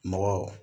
Mɔgɔ